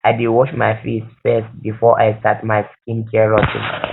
i dey wash my face first before i start my skincare routine